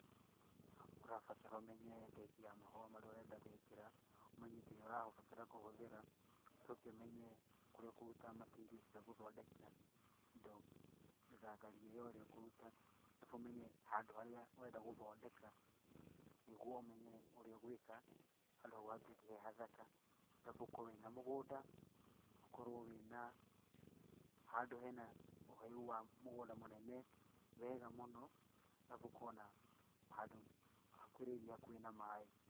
Ũrabatara ũmenye type ya mahũa marĩa ũrenda gwĩkĩra, ũmenye indo iria ũrabatara kũhũthĩra, ũcoke ũmenye kũrĩa ũkũruta material cia gũthondeka indo mĩgaragari ĩyo ĩrĩa ũkũruta, arabu ũmenye handũ harĩa ũrenda gũthondeka, nĩguo ũmenye ũrĩa ũgwĩka, handũ hau hatuĩke he hathaka, arabu ũkorwo wĩna mũgũnda, ũkorwo wĩna handũ hena ũheu wa mũgũnda mũnene wega mũno, arabu ũkorwo na handũ hakuhĩrĩirie hakuhĩ na maĩ.